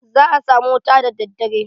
Za a samu wuta da daddare.